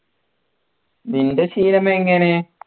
നിൻ്റെ ശീലം എങ്ങനെയാ